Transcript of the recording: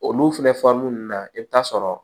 Olu filɛ fɔli nunnu na i bi taa sɔrɔ